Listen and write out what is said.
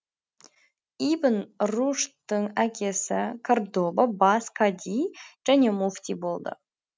ибн рушдтың әкесі кордоба бас кади және муфти болды